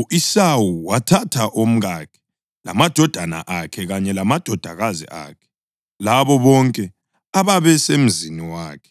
U-Esawu wathatha omkakhe lamadodana akhe kanye lamadodakazi akhe labo bonke ababesemzini wakhe